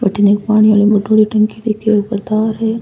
अठन एक पानी आली मटोडी टंकी दिखे बि ऊपर तार है।